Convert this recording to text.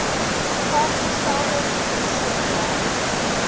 vasgestelde verliese gely